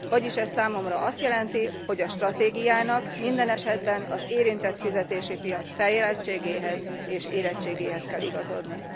Vagyis ez számomra azt jelenti, hogy a stratégiának minden esetben az érintett fizetési piac fejlettségéhez és érettségéhez kell igazodnia.